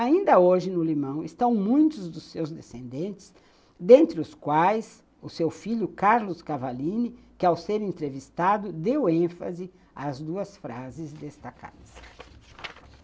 Ainda hoje, no Limão, estão muitos dos seus descendentes, dentre os quais o seu filho, Carlos Cavallini, que, ao ser entrevistado, deu ênfase às duas frases destacadas.